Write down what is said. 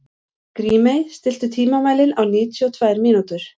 Grímey, stilltu tímamælinn á níutíu og tvær mínútur.